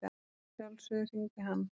Að sjálfsögðu hringdi hann.